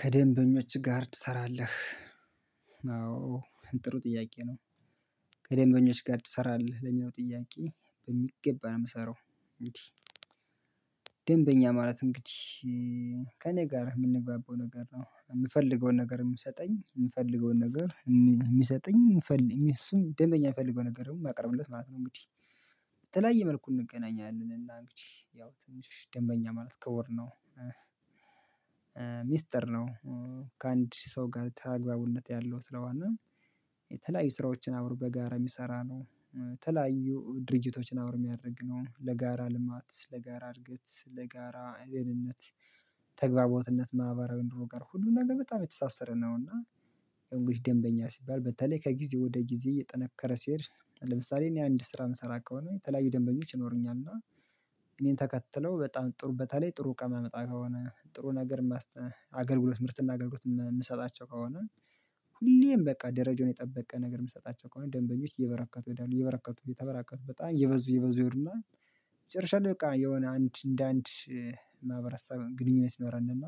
"ከደንበኞች ጋርድ ትሰራለህ?" አዎ ጥሩ ጥያቄ ነው። "ከደምበኞች ጋር ትሰራለህ?" ለሚለው ጥያቄ በሚገባ ነው የምሰራው። እንግዲህ ማለት እንግዲህ ከእኔ ጋር የምንገባበው ነገር ነው የምፈልገውን ነገር የሚሰጠኝ የምፈልገውን ነገር የሚሰጠኝ የምፈ እሱም ደንበኛ የሚፈልገው ነገር ደግሞ ማቀርብለት ማለት ነው እንግዲህ በተለያየ መልኩ እንገናኛለን እና እንግዲህ ያው ትንሽ ደንበኛ ማለት ክቡር ነው። ሚስጥር ነው። ከአንድ ሰው ጋር ታግባቦነት ያለው ስለሆነ የተለያዩ ስራዎችን አብሮ በጋራ የሚሰራ ነው፣ ተለያዩ ድርጅቶችን አብሮ የሚያደርግ ነው፣ ለጋራ ልማት፣ ለጋራ እድገት፣ ለጋራ አይ ደህንነት ተግባቦትነት ማህበራዊ ኑሮ ጋር ሁሉም ነገር በጣም የተሳሰረ ነው፤ እና ያው እንግዲህ ደንበኛ ሲባል በተለይ ከጊዜ ወደ ጊዜ እየጠነከረ ሲሄድ ለምሳሌ እኔ አንድ ስራ የምሰራ ከሆነ የተለያዩ ደንበኞች ይኖሩኛል፤ እና እኔን ተከትለው በጣም ጥሩ በተለይ ጥሩ እቃ ማመጣ ከሆነ ጥሩ ነገር ማስተ አገልግሎት ምርትና አገልግሎት ምሰጣቸው ከሆነ ሁሌም በቃ ደረጃውን የጠበቀ ነገር የምሰጣቸው ከሆነ ደንበኞች እየበረከቱ ይሄዳሉ እየበረከቱ እየተበራከቱ በጣም እየበዙ እየበዙ ይሄዱና መጨረሻ ላይ በቃ የሆነ አንድ እንደ አንድ ማህበረሰብ ግንኙነት ይኖራል እና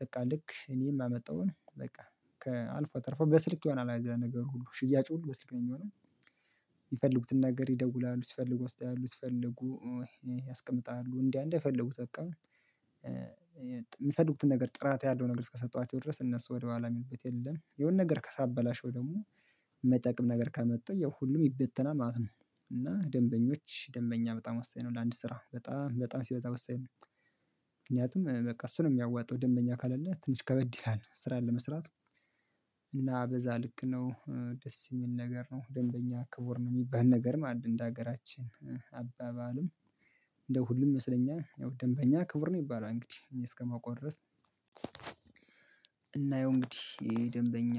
በቃ ልክ እኔ የማመጣውን በቃ ከአልፎ ተርፎ በስልክ የሆነ አይዘ ነገሩ ሁሉ ሽያጩ ሁሉ በስልክ ነው የሚሆነው። ሚፈልጉትን ነገር ይደውላሉ ሲፈልጉ ወስደው ያያሉ ሲፈልጉ ያስቀምጣሉ እንዲያ እንድፈልጉት በቃ የሚፈልጉትን ነገር ጥራት ያለው ነገር እስከሰጠኋቸው ድረስ እነሱ ወደኋላ የሚሉበት የለም የሆነ ነገር ከሳበላሸው ደግሞ ማይጠቅም ነገር ካመጣው ያው ሁሉም ይበተናል ማለት ነው፤ እና ደንበኞች ደንበኛ በጣም ወሳኝ ነው ለአንድ ስራ በጣም በጣም ሲበዛ ወሳኝ ነው። ምክንያቱም በቃ እሱ ነው የሚያዋጣው ደንበኛ ካሌለ ትንሽ ከበድ ይላል ስራን ለመስራት እና በዛ ልክ ነው ደስ የሚል ነገር ነው ደንበኛ ክቡር ነው የሚባል ነገርም አለ እንደ ሀገራችን አባባልም እንደው ሁሉም ይመሰለኛል ደንበኛ ክቡር ነው ይባላል እንግዲህ እኔ እስከማውቀው ድረስ እና ያው እንግዲህ ደንበኛ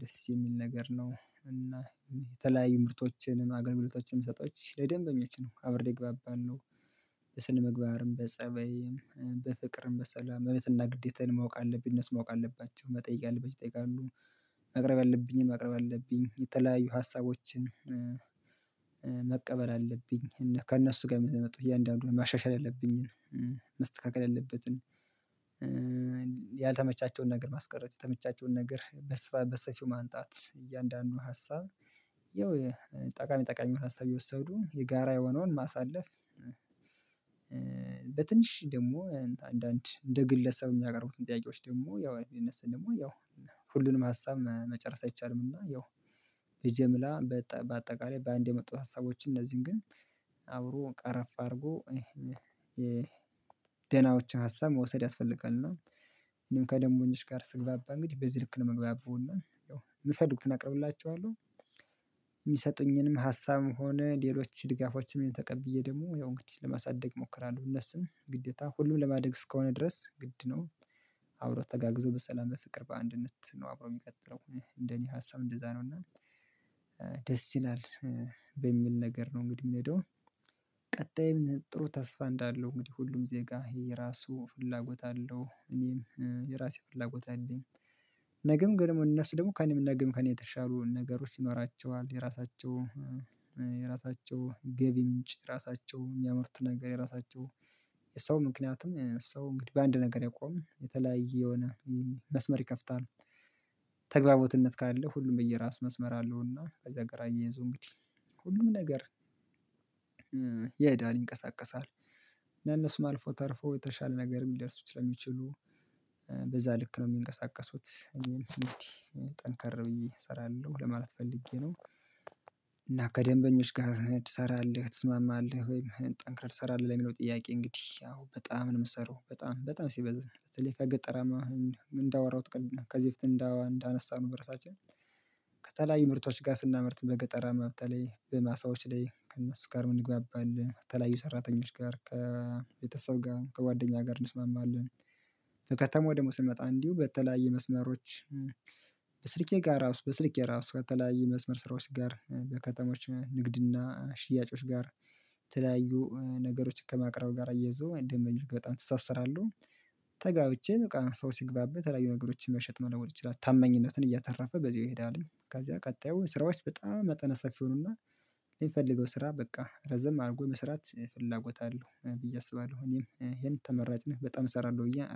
ደስ የሚል ነገር ነው፤ እና የተለያዩ ምርቶችንም አገልግሎቶችንም ሰጦች ለደንበኞች ነው አብሬ እግባባለሁ በስነ ምግባርም፣ በፀባይም፣ በፍቅርም፣ በሰላም መብትና ግዴታዬን ማወቅ አለብኝ እነሱም ማወቅ አለባቸው። መጠየቅ ያለባቸውን ይጠይቃሉ ማቅረብ ያለብኝን ማቅረብ አለብኝ የተለያዩ ሀሳቦችን መቀበል አለብኝ፤ እና ከእነሱ ጋር የሚመጡ እያንዳንዱን ማሻሻል ያለብኝን መስተካከል ያለበትን ያልተመቻቸውን ነገር ማስቀረት የተመቻቸውን ነገር በስፋ በሰፊው ማምጣት እያንዳንዱን ሀሳብ ያው ጠቃሚ ጠቃሚ የሆነ ሀሳብ እየወሰዱ የጋራ የሆነውን ማሳለፍ በትንሽ ደግሞ አንዳንድ እንደ ግለሰብ የሚያቀርቡትን ጥያቄዎች ደግሞ ያው የነሱን ደግሞ ያው ሁሉንም ሀሳብ መ መጨረስ አይቻልምና ያው በጅምላ በአጠቃላይ በአንድ የመጡት ሀሳቦችን እነዚህን ግን አብሮ ቀረፍ አድርጎ ደናዎችን ሀሳብ መውሰድ ያስፈልጋል እና እኔም ከደምበኞች ጋር ስግባባ እንግዲህ በዚህ ልክ ነው ምግባባው እና ያው ሚፈልጉትን አቀርብላቸዋለሁ። የሚሰጡኝንም ሀሳብም ሆነ ሌሎች ድጋፎችንም ተቀብዬ ደግሞ ያው እንግዲህ ለማሳደግ እሞክራለሁ። እነሱም ግዴታ ሁሉም ለማደግ እስከሆነ ድረስ ግድ ነው። አብሮ ተጋግዞ በሰላም በፍቅር በአንድነት ነው አብሮ የሚቀጥለው እንደኔ ሀሳብ እንደዛ ነው እና ደስ ይላል በሚል ነገር ነው እንግዲህ የምሄደው። ቀጣይም ጥሩ ተስፋ እንዳለው እንግዲህ ሁሉም ዜጋ ይሄ የራሱ ፍላጎት አለው እኔም የራሴ ፍላጎት አለኝ ነገም ግን ደግሞ እነሱ ደግሞ ከእኔም ነግም ከእኔ የተሻሉ ነገሮች ይኖራቸዋል የራሳቸው የራሳቸው ገቢ ምንጭ የራሳቸው የሚያመርቱት ነገር የራሳቸው የሰው ምክንያቱም ሰው እንግዲህ በአንድ ነገር አይቆምም የተለያየ የሆነ መስመር ይከፍታል። ተግባቦት ካለ ሁሉም የየራስ መስመር አለውና ከዛ ጋር አያይዞ እንግዲህ ሁሉም ነገር ይሄዳል ይንቀሳቀሳል እና እነሱም አልፎ ተርፎ የተሻለ ነገርም ሊደርሱ ስለሚችሉ በዛ ል ልክ ነው የሚንቀሳቀሱት እኔም እንግዲህ ጠንካራ ብዬ እሰራለሁ ለማለት ፈልጌ ነው፤ እና ከደንበኞች ጋር ትሰራለህ ትስማማለህ ወይም ጠንክረህ ትሰራለህ ለሚለው ጥያቄ እንግዲህ ያው በጣም ነው የምሰራው በጣም በጣም ሲበዛ በተለይ ከገጠራማ እንዳወራሁት ከ ከዚህ በፊት እንዳ እንዳነሳነው በራሳችን ከተለያዩ ምርቶች ጋር ስናመርት በገጠራማ በተለይ በማሳዎች ላይ ከእነሱ ጋርም እንግባባለን፣ ከተለያዩ ሰራተኞች ጋር፣ ከቤተሰብ ጋር፣ ከጓደኛ ጋር እንስማማለን ከተማው ደግሞ ስንመጣ እንዲሁ በተለያዩ መስመሮች በስልኬ ጋር ራሱ በስልኬ ራሱ ከተለያየ መስመር ስራዎች ጋር በከተማዎች ንግድና ሽያጮች ጋር የተለያዩ ነገሮችን ከማቅረብ ጋር እያይዞ ደንመበኞች ጋር በጣም እተሳሰራለሁ። ተጋብቼ በቃ ሰው ሲግባባ የተለያዩ ነገሮችን መሸጥ መለወጥ ይችላል። ታመኝነትን እያተረፈ በዛው ይሄዳልኝ። ከዛ ቀጣዩ ስራዎች በጣም መጠነ ሰፊ ይሆኑና ለሚፈልገው ስራ በቃ ረዘም አድርጎ የመስራት ፍላጎት አለው ብዬ አስባለሁኝ ይሄን ተመራጭነት በጣም እሰራለሁ ብዬ